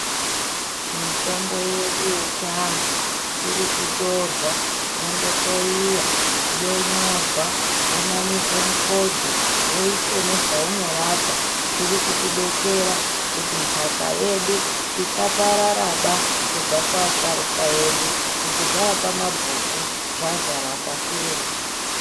Mitombo yedu yechiantu iri kutorwa yondohloyiwa, yonyorwa yonamirwe mifodho woiswe nezvaunorapa. Zvirikutidetsera kuti nhaka yedu isapararaba kubva kuasharuka edu kuti zvaapamabhuku zvazara pashi reshe.